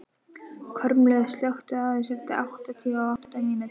Kormlöð, slökktu á þessu eftir áttatíu og átta mínútur.